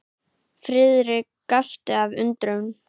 Friðrik gapti af undrun.